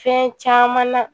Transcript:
Fɛn caman na